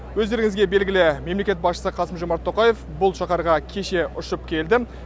өздеріңізге белгілі мемлекет басшысы қасым жомарт тоқаев бұл шаһарға кеше ұшып келді